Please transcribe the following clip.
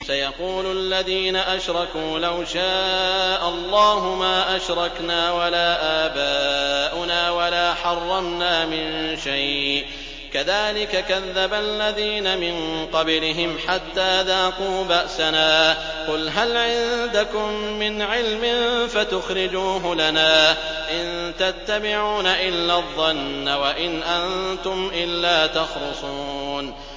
سَيَقُولُ الَّذِينَ أَشْرَكُوا لَوْ شَاءَ اللَّهُ مَا أَشْرَكْنَا وَلَا آبَاؤُنَا وَلَا حَرَّمْنَا مِن شَيْءٍ ۚ كَذَٰلِكَ كَذَّبَ الَّذِينَ مِن قَبْلِهِمْ حَتَّىٰ ذَاقُوا بَأْسَنَا ۗ قُلْ هَلْ عِندَكُم مِّنْ عِلْمٍ فَتُخْرِجُوهُ لَنَا ۖ إِن تَتَّبِعُونَ إِلَّا الظَّنَّ وَإِنْ أَنتُمْ إِلَّا تَخْرُصُونَ